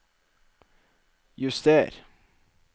juster